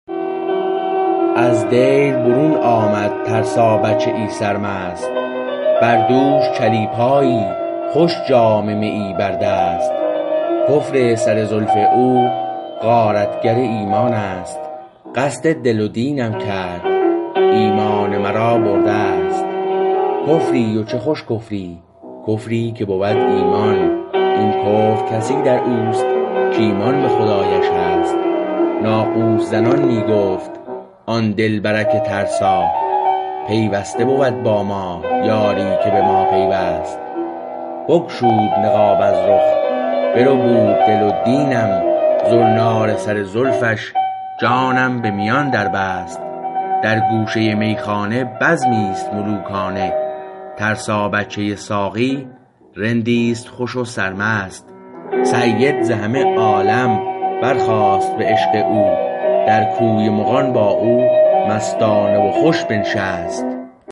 از دیر برون آمد ترسا بچه ای سرمست بر دوش چلیپایی خوش جام میی بر دست کفر سر زلف او غارتگر ایمان است قصد دل و دینم کرد ایمان مرا برده است کفری و چه خوش کفری کفری که بود ایمان این کفر کسی در اوست کایمان به خدایش هست ناقوس زنان می گفت آن دلبرک ترسا پیوسته بود با ما یاری که به ما پیوست بگشود نقاب از رخ بربود دل و دینم زنار سر زلفش جانم به میان در بست در گوشه میخانه بزمی است ملوکانه ترسا بچه ساقی رندیست خوش و سرمست سید ز همه عالم بر خاست به عشق او در کوی مغان با او مستانه و خوش بنشست